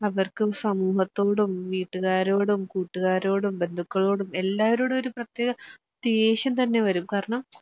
അവർക്കും സമൂഹത്തോടും, വീട്ടുകാരോടും കൂട്ടുകാരോടും ബന്ധുക്കളോടും എല്ലാവരോടുവൊര് പ്രത്യേക ദേഷ്യം തന്നെവരും കാരണം